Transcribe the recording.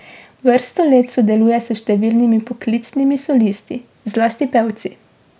Vrsto let sodeluje s številnimi poklicnimi solisti, zlasti pevci.